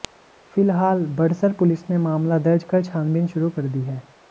फिलहाल बड़सर पुलिस ने मामला दर्ज कर छानबीन शुरू कर दी है